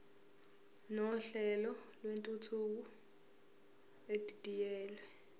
nohlelo lwentuthuko edidiyelwe